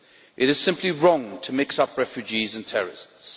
It is simply wrong to mix up refugees and terrorists.